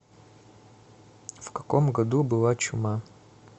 в каком году была чума